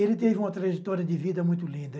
Ele teve uma trajetória de vida muito linda.